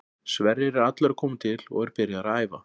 Sverrir er allur að koma til og er byrjaður að æfa.